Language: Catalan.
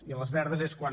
i a les verdes és quan